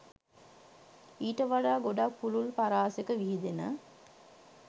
ඊට වඩා ගොඩක් පුළුල් පරාසෙක විහිදෙන